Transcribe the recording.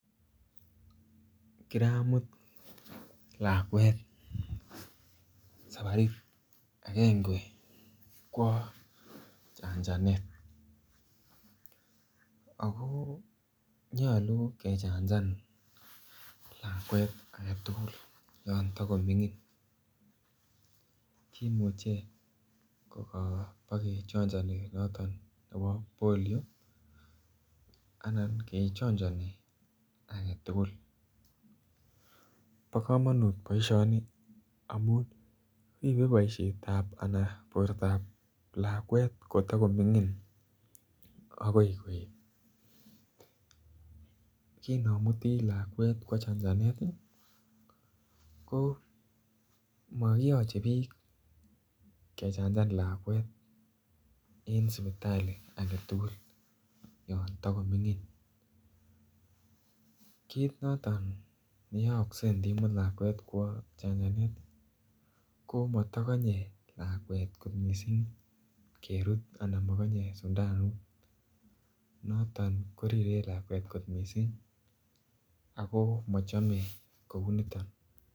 Kiramut lakwet sabarit agenge kwo chanaganet ako nyolu kevhanachan lakwet agetukul yon takomingin kimuche kokobok kechonchini noton nebo polio ana kechonchini agetukul. Bo komonut boishonik amun ribe boishetab anan bortab lakwet kotokomingin akoi koet. Kinomutii lakwet kwo chanchanet ko mokiyoche bik kechanchan lakwet en sipitali agetukul yon tokomingin kit noton yeolse mdimut lakwet kwo chanchanet komoyomonye lakwet kot missing kerut anan mokoye sindanut noton koriren lakwet kot missing ako mochome kouniton.